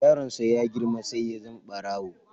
Yaron sa ya girma sai ya zama barawo.